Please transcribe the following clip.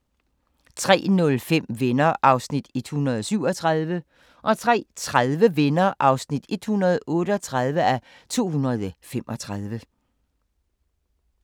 03:05: Venner (137:235) 03:30: Venner (138:235)